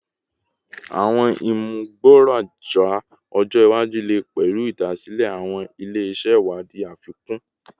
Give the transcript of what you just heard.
Awọn imugboroja ọjọ iwaju le pẹlu idasile awọn ile-iṣẹ iwadii afikun